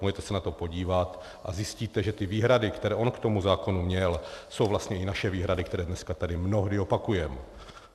Můžete se na to podívat a zjistíte, že ty výhrady, které on k tomu zákonu měl, jsou vlastně i naše výhrady, které dneska tady mnohdy opakujeme.